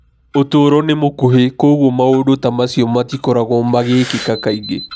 Ũtũũro nĩ mũkuhĩ, kwoguo maũndũ ta macio matikoragwo magĩkĩka kaingĩ.